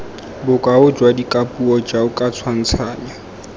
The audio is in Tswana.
bokao jwa dikapuo jaoka tshwantshanyo